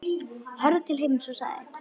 Horfði til himins og sagði: